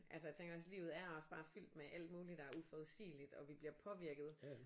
Altså jeg tænker hvis livet er også bare fyldt med alt muligt der er uforudsigeligt og vi bliver påvirket